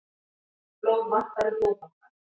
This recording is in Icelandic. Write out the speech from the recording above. Blóð vantar í Blóðbankann